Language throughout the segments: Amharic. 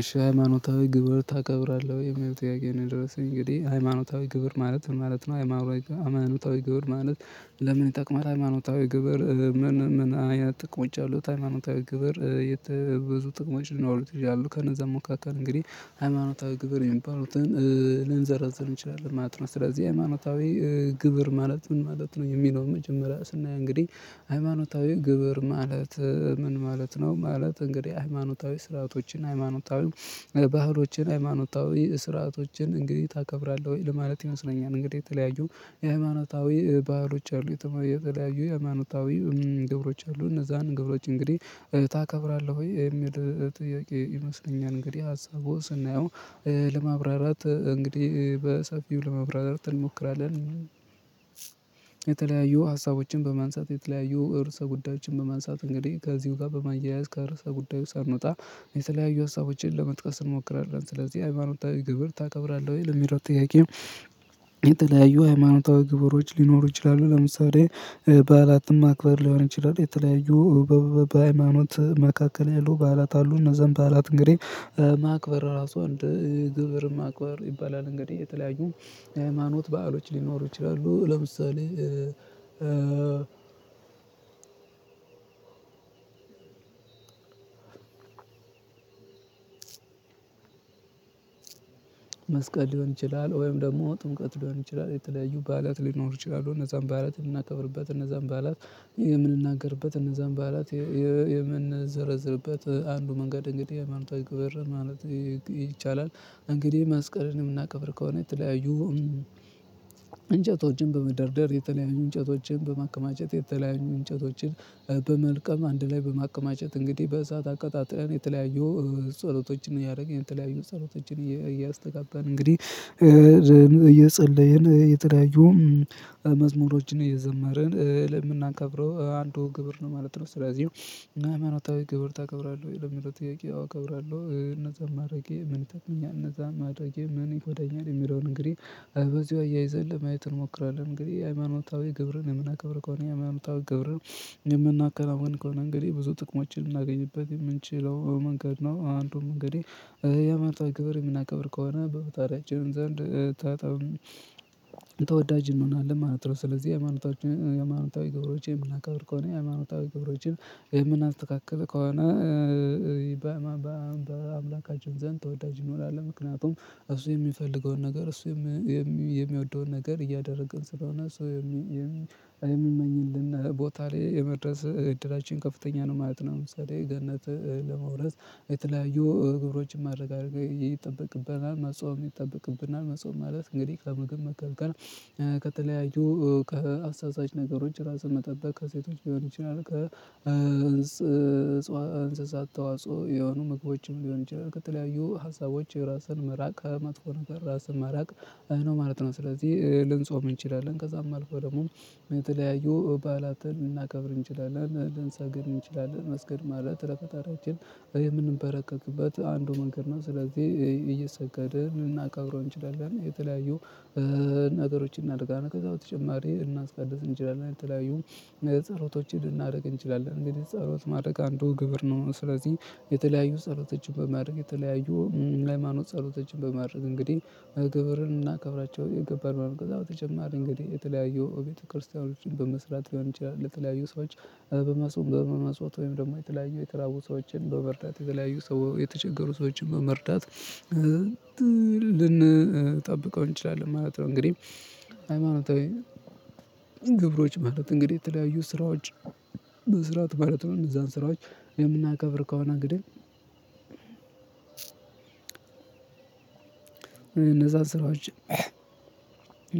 እሺ ሃይማኖታዊ ግብር ታከብራለህ ወይ የሚለው ጥያቄ ነው የደረስኩኝ እንግዲህ ሃይማኖታዊ ግብር ማለት ምን ማለት ነው? ሃይማኖታዊ ግብር ማለት? ለምን ይጠቅማል ሃይማኖታዊ ግብር ምን ምን አያ ጥቅም ይቻላል? ሃይማኖታዊ ግብር ብዙ ጥቅሞች ልናወሩት ይዣሉ ከነዛም ሙካከል እንግዲህ ሃይማኖታዊ ግብር የሚባሉትን ልንዘረዝር እንችላለን። ማጥና ስለዚህ ሃይማኖታዊ ግብር ማለት ምን ማለት ነው? የሚለውን መጀመሪያ ስናይ እንግዲህ ሃይማኖታዊ ግብር ማለት ምን ማለት ነው? ማለት እንግዲህ ሃይማኖታዊ ስርዓቶችን ሃይማኖታዊ ባህሎችን ሃይማኖታዊ ስርዓቶችን እንግዲህ ታከብራለህ ወይ ለማለት ይመስለኛል። እንግዲህ የተለያዩ የሃይማኖታዊ ባህሮች አሉ የተለያዩ የሃይማኖታዊ ግብሮች አሉ እነዛን ግብሮች እንግዲህ ታከብራለህ ወይ የሚል ጥያቄ ይመስለኛል። እንግዲህ ሀሳቡ ስናየው ለማብራራት እንግዲህ በሰፊው ለመብራራት እንሞክራለን። የተለያዩ ሀሳቦችን በማንሳት የተለያዩ እርሰ ጉዳዮችን በማንሳት እንግዲህ ከዚሁ ጋር በማያያዝ ከርዕሰ ጉዳዩ ስንወጣ የተለያዩ ሀሳቦችን ለመጥቀስ እንሞክራለን። ስለዚህ ሃይማኖታዊ ግብር ታከብራለህ ወይ ለሚሮጥ? የተላያዩ ሃይማኖታዊ ግብሮች ሊኖሩ ይችላሉ። ለምሳሌ በዓላትም ማክበር ሊሆን ይችላል። የተለያዩ በሃይማኖት መካከል ያሉ ባላት አሉ። እነዛን ባላት እንግዲህ ማክበር ራሱ እንደ ግብር ማክበር ይባላል። እንግዲህ የተለያዩ ሃይማኖት በዓሎች ሊኖሩ ይችላሉ። ለምሳሌ መስቀል ሊሆን ይችላል ወይም ደግሞ ጥምቀት ሊሆን ይችላል የተለያዩ ባላት ሊኖሩ ይችላሉ እነዛን ባላት የምናከብርበት እነዛን ባላት የምንናገርበት እነዛን በዓላት የምንዘረዝርበት አንዱ መንገድ እንግዲህ የመንታ ክብር ማለት ይቻላል። እንግዲህ ማስቀረንን የምናከብር ከሆነ የተለያዩ እንጨቶችን በመደርደር የተለያዩ እንጨቶችን በማከማጨት የተለያዩ እንጨቶችን በመልቀም አንድ ላይ በማቀማጨት እንግዲህ በእሳት አቀጣጥለን የተለያየው ጸሎቶችን እያደረገኝ የተለያዩ ጸሎቶችን እያስተጋባን እንግዲህ እየጸለየን የተዳየውን መዝሙሮችን እየዘመርን ለምናከብረው አንዱ ግብር ነው ማለት ነው። ስለዚህ ምናምን ወጥታዊ ግብር ታከብራለህ ወይ ለምንድነው ጥያቄ? አውቀብራለሁ እነዛን ማድረጌ ምን ተክመኛ እነዛ ማድረጌ ምን ይሆኛል የሚለውን እንግዲህ በዚሁ አያይዘን ለማየት እንሞክራለን። እንግዲህ የሃይማኖታዊ ግብርን የምናከብር ከሆነ የሃይማኖታዊ ግብርን የምናከናውን ከሆነ እንግዲህ ብዙ ጥቅሞችን የምናገኝበት የምንችለው መንገድ ነው። አንዱን መንገዴ የመርታ ግብር የምናከብር ከሆነ በፈጣሪያችን ዘንድ ታታም ተወዳጅ እንሆናለን ማለት ነው። ስለዚህ ሃይማኖታዊ ግብሮችን ምላካውርኮኔ ሃይማኖታዊ ግብሮችን ምን አልተካከለ ከሆነ በአምላካችን ዘንድ ተወዳጅ ይኖራል። ምክንያቱም እሱ የሚፈልገውን ነገር እሱ የሚወደውን ነገር እያደረግን ስለሆነ ሰው የሚል የሚመኝልን ቦታ ላይ የመድረስ እድላችን ከፍተኛ ነው ማለት ነው። ለምሳሌ ገነት ለመውረስ የተለያዩ እግሮችን ማድረግ አድርገህ ይጠበቅብናል መጽዋም ይጠበቅብናል። መጽዋም ማለት እንግዲህ ከመገመት ቀርቀር ከተለያዩ ከአስተያየት ነገሮች ራስህን መጠበቅ ከሴቶች ቢሆን ይችላል። እንስሳት ተዋጽኦ የሆኑ ምግቦችም ሊሆን ይችላል። ከተለያዩ ሀሳቦች የራስን መራቅ ከመጥፎ ነገር ራስን መራቅ ነው ማለት ነው። ስለዚህ ልንጾም እንችላለን ከዛም አልፎ ደግሞ የተለያዩ ባላትን እናከብር እንችላለን። ልንሰግር እንችላለን። መስገድ ማለት ለፈጣሪያችን የምንበረከክበት አንዱ መንገድ ነው። ስለዚህ እየሰገድን እናቀብረው እንችላለን። የተለያዩ ነገሮችን እናድርጋለን ከዛ በተጨማሪ እናስቀድስ እንችላለን። የተለያዩ ጸሎቶችን ልናደርግ እንችላለን። እንዴት ጸሎት ማድረግ አንዱ ግብር ነው። ስለዚህ የተለያዩ ጸሎቶችን በማድረግ የተለያዩ ሃይማኖት ጸሎቶችን በማድረግ እንግዲህ ግብርን እናከብራቸው የገባን መምህር በተጨማሪ እንግዲህ የተለያየው ቤተክርስቲያኖችን በመስራት ሊሆን ይችላል ለተለያዩ ሰዎች በመስዋዕት ወይም ደግሞ የተለያየ የተላቡ ሰዎችን በመርዳት የተለያየ ሰው የተቸገሩ ሰዎችን በመርዳት ልንጠብቀው እንችላለን ማለት ነው። እንግዲህ ሃይማኖታዊ ግብሮች ማለት እንግዲህ የተለያዩ ስራዎች በስራት ማለት ነው። እነዛን ስራዎች የምናከብር ከሆነ ግድል እነዛ ስራዎች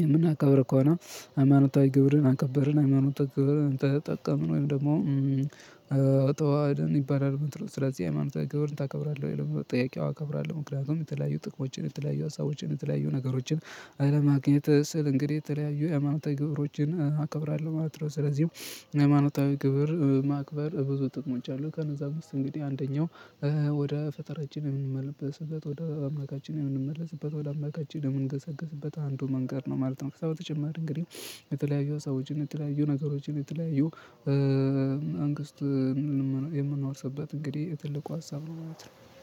የምናከብር ከሆነ ሃይማኖታዊ ግብርን አከበርን ሃይማኖታዊ ግብርን ተጠቀምን ወይም ደግሞ አተዋህደን ይባላል። ምትሮች ስለዚህ ሃይማኖተ ግብርን ታከብራለህ የለም ጥያቄው? አከብራለሁ ምክንያቱም የተለያዩ ጥቅሞችን የተለያዩ ሀሳቦችን የተለያዩ ነገሮችን አለማግኘት ስል እንግዲህ የተለያዩ የአማኖታዊ ግብሮችን አከብራለሁ ማለት ነው። ስለዚህም የሃይማኖታዊ ግብር ማክበር ብዙ ጥቅሞች አሉ። ከነዛ እምስት እንግዲህ አንደኛው ወደ ፈጠራችን የምንመለስበት ወደ አምላካችን የምንመለስበት ወደ አምላካችን ለምንገሰግስበት አንዱ መንገድ ነው ማለት ነው። ሰው በተጨማሪ እንግዲህ የተለያዩ ሰዎችን የተለያዩ ነገሮችን የተለያዩ መንግስት የምንኖርበት እንግዲህ ትልቁ ሀሳብ ነው ማለት ነው